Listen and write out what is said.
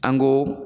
An ko